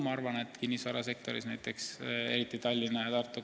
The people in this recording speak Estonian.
Näiteks võib tuua kinnisvarasektori Tallinnas ja Tartus.